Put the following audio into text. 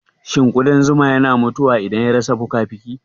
Shin ƙudan zuma yana mutuwane idan ya rasa fukafuki